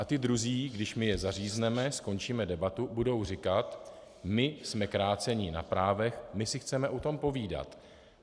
A ti druzí, když my je zařízneme, skončíme debatu, budou říkat my jsme kráceni na právech, my si chceme o tom povídat.